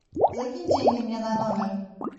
закинь деньги мне на номер